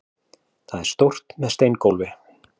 Það er stórt, með steingólfi.